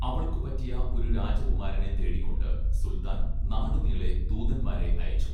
അവൾക്ക് പറ്റിയ ഒരു രാജകുമാരനെ തേടിക്കൊണ്ട് സുൽത്താൻ നാടുനീളെ ദൂതന്മാരെ അയച്ചു